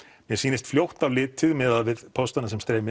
mer sýnist fljótt á litið miðað við póstana sem streyma